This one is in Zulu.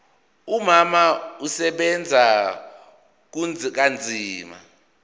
umama usebenza kanzima